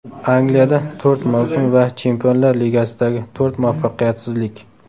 Angliyada to‘rt mavsum va Chempionlar Ligasidagi to‘rt muvaffaqiyatsizlik.